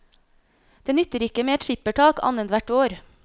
Det nytter ikke med et skippertak annethvert år.